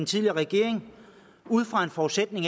tidligere regering ud fra en forudsætning